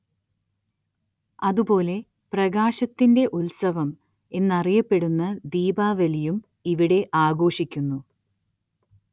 അതു പോലെ പ്രകാശത്തിന്റെ ഉത്സവം എന്നറിയപ്പെടുന്ന ദീപാവലിയും ഇവിടെ ആഘോഷിക്കുന്നു.